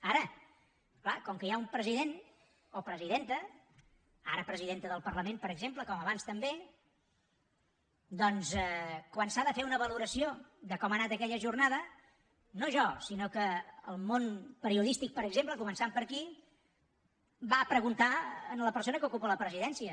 ara clar com que hi ha un president o presidenta ara presidenta del parlament per exemple com abans també doncs quan s’ha de fer una valoració de com ha anat aquella jornada no jo sinó que el món periodístic per exemple començant per aquí va a preguntar a la persona que ocupa la presidència